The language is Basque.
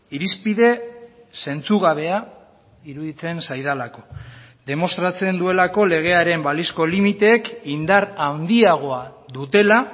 irizpide zentzugabea iruditzen zaidalako demostratzen duelako legearen balizko limiteek indar handiagoa dutela